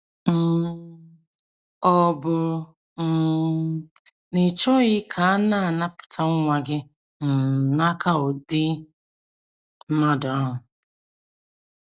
um Ọ̀ bụ um na ị chọghị ka a napụta nwa gị um n’aka ụdị mmadụ ahụ?